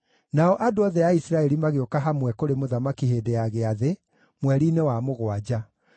Nao andũ othe a Isiraeli magĩũka hamwe kũrĩ mũthamaki hĩndĩ ya gĩathĩ, mweri-inĩ wa mũgwanja.